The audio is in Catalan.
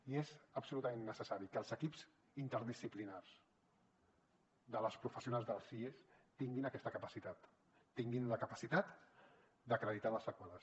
i és absolutament necessari que els equips interdisciplinaris de les professionals dels sies tinguin aquesta capacitat tinguin la capacitat d’acreditar les seqüeles